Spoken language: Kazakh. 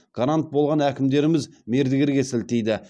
гарант болған әкімдеріміз мердігерге сілтейді